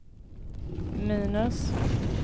minus